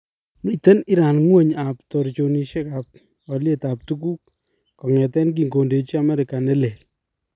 Miten Iran ngwony ab torchinosiek ab alyeet ab tukuuk kong'eteen kinkondeji Amerika nelel